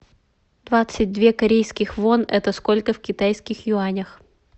двадцать две корейских вон это сколько в китайских юанях